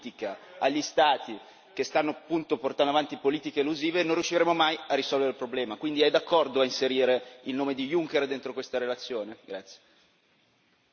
Se non diamo responsabilità politica agli Stati che stanno appunto portando avanti politiche elusive, non riusciremo mai a risolvere il problema. Quindi è d'accordo a inserire il nome di Juncker in questa relazione?